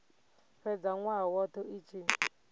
fhedza nwaha wothe i tshi